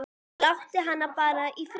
Láttu hana bara í friði, maður.